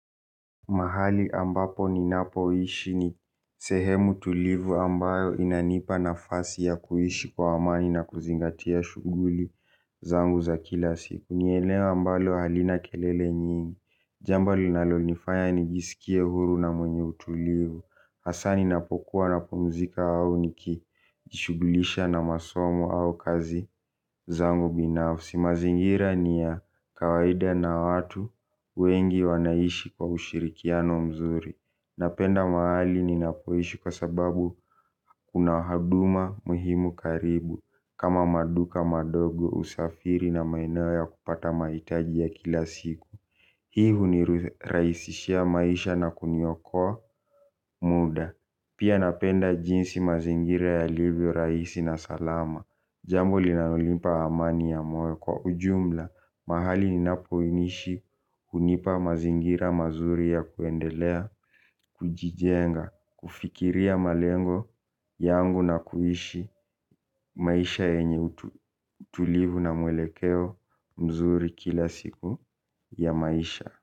Mahali ambapo ni napo ishi ni sehemu tulivu ambayo inanipa nafasi ya kuhishi kwa amani na kuzingatia shuguli zangu za kila siku. Ni eneo ambalo halina kelele nyingi. Jamba linalo nifaya nigisikie huru na mwenye utulivu. Hasaa ninapokuwa napumzika au nikijishugulisha na masomo au kazi zangu binafsi. Si mazingira ni ya kawaida na watu wengi wanaishi kwa ushirikiano mzuri napenda mahali ninapoishi kwa sababu kuna haduma muhimu karibu kama maduka madogo usafiri na maeneo ya kupata mahitaji ya ila siku. Hii huniraisishia maisha na kuniokoa muda. Pia napenda jinsi mazingira ya livyo raisi na salama. Jambo li nalolimpa amani ya moyo kwa ujumla, mahali ni napoinishi kunipa mazingira mazuri ya kuendelea, kujijenga, kufikiria malengo yangu na kuishi maisha yenye utulivu na mwelekeo mzuri kila siku ya maisha.